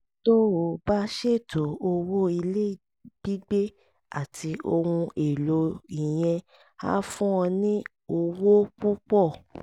tó o bá ṣètò owó ilé gbígbé àti ohun èlò ìyẹn á fún ọ ní owó púpọ̀